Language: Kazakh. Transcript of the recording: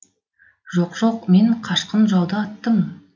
жоқ жоқ мен қашқын жауды аттым